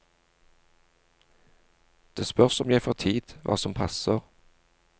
Det spørs om jeg får tid, hva som passer.